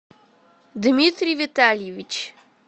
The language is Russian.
дмитрий витальевич